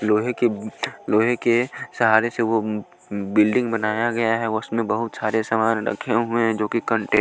लोहे के अ अ लोहे अ अ लोहे के के सहारे से वो बिल्डिंग बनाया गया है उसमें बहुत सारे सामान रखे हुए हैं जो कि कंटेन --